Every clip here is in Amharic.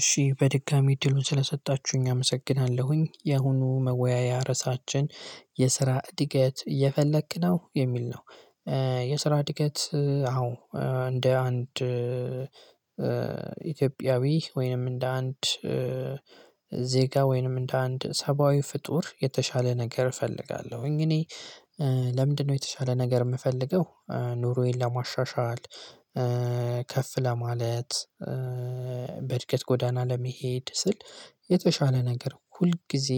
እሺ በድጋሚ እድሉን ስለሰጣችሁኝ አመሰግናለሁኝ የአሁኑ መወያያ ርዕሳችን የስራ እድገት እፈለክ ነው የሚል ነው። የስራ እድገት አዎ እንደ አንድ ኢትዮጵያዊ ወይንም እንደ አንድ ዜጋ ወይንም እንደ አንድ ሰብአዊ ፍጡር የተሻለ ነገር እፈልጋለሁኝ እኔ ለምንድነው የተሻለ ነገር የምፈልገው? ኑሮዬን ለማሻሻል ከፍ ለማለት በእድገት ጎዳና ለመሄድ ስል የተሻለ ነገር ሁል ጊዜ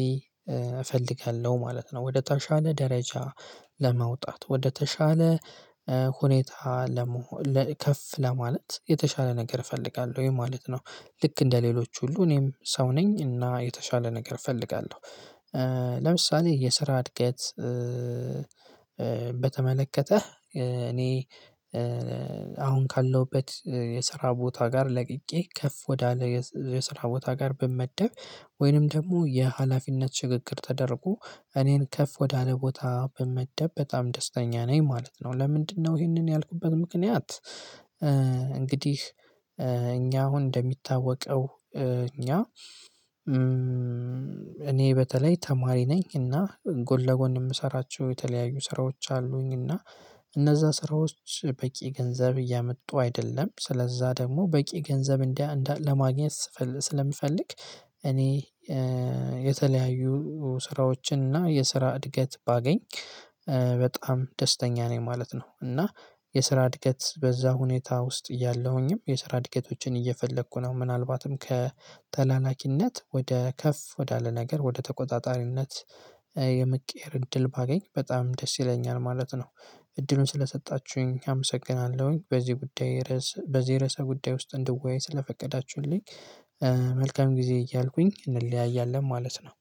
እፈልጋለሁ ማለት ነው። ወደታሻለ ደረጃ ለመውጣት ወደተሻለ ሁኔታ ለመሆን ከፍ ለማለት የተሻለ ነገር እፈልጋለሁ ወይ ማለት ነው። ልክ እንደሌሎች ሁሉ እኔም ሰው ነኝ እና የተሻለ ነገር እፈልጋለሁ። ለምሳሌ የስራ እድገት። በተመለከተ እኔ አሁን ካለሁበት የስራ ቦታ ጋር ለቅቄ ከፍ ወዳለ የስራ ቦታ ጋር ብመደብ ወይንም ደግሞ የሀላፊነት ሽግግር ተደርጎ እኔን ከፍ ወዳለ ቦታ በመደብ በጣም ደስተኛ ነኝ ማለት ነው። ለምንድነው ይሄንን ያልኩበት ምክንያት። እንግዲህ እኛ አሁን እንደሚታወቀው እኛ እኔ በተለይ ተማሪ ነኝ እና ጎን ለጎን የምሰራቸው የተለያዩ ስራዎች አሉኝ እና እነዛ ስራዎች በቂ ገንዘብ እያመጡ አይደለም ስለዛ ደግሞ በቂ ገንዘብ እንደ ለማግኘት ስለምፈልግ እኔ የተለያዩ ስራዎችን እና የስራ እድገት ባገኝ በጣም ደስተኛ ነኝ ማለት ነው። እና የስራ እድገት በዛ ሁኔታ ውስጥ እያለሁኝም የስራ እድገቶችን እየፈለኩ ነው ምናልባትም ከተላላኪነት ወደ ከፍ ወዳለ ነገር ወደ ተቆጣጣሪነት የመቀየር እድል ባገኝ በጣም ደስ ይለኛል ማለት ነው። እድሉን ስለሰጣችሁኝ አመሰግናለሁኝ በዚህ ጉዳይ በዚህ ርዕሰ ጉዳይ ውስጥ እንድወያይ ስለፈቀዳችሁልኝ። መልካም ጊዜ እያልኩኝ እንለያያለን ማለት ነው።